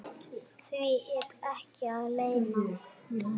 Því er ekki að leyna.